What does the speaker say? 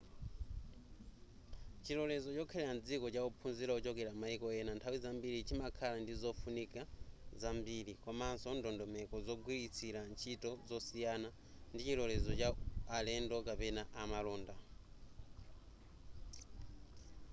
chilorezo chokhalira mdziko cha ophunzira ochokera mmaiko ena nthawi zambiri chimakhala ndi zofunikira zambiri komanso ndondomeko zogwiritsila ntchito zosiyana ndi chilorezo cha alendo kapena amalonda